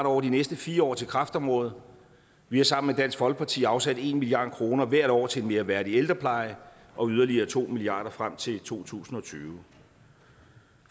over de næste fire år til kræftområdet vi har sammen med dansk folkeparti afsat en milliard kroner hvert år til en mere værdig ældrepleje og yderligere to milliard kroner frem til to tusind og tyve